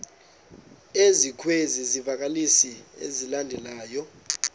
ezikwezi zivakalisi zilandelayo